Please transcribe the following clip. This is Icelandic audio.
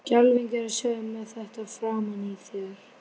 Skelfing er að sjá þig með þetta framan í þér!